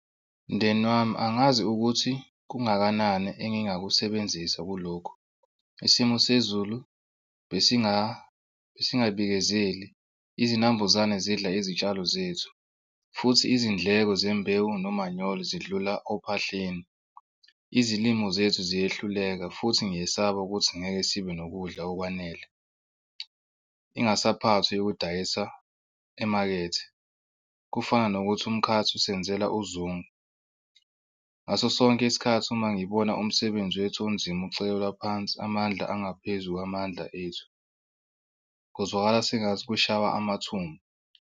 Mndeni wami angazi ukuthi kungakanani engingakusebenzisa kulokho. Isimo sezulu besingabikezeli izinambuzane zidla izitshalo zethu, futhi izindleko zembewu nomanyolo zidlula ophahleni. Izilimo zethu ziyehluleka futhi ngiyesaba ukuthi ngeke sibe nokudla okwanele. Ingasaphathwi yokudayisa emakethe. Kufana nokuthi umkhathi usenzela uzungu ngaso sonke isikhathi uma ngibona umsebenzi wethu onzima ucekelwa phansi amandla angaphezu kwamandla ethu kuzwakala sengathi kushawa amathumbu.